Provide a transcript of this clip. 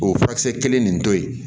O ye furakisɛ kelen nin to ye